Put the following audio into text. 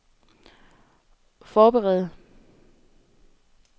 forberede